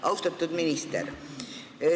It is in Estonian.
Austatud minister!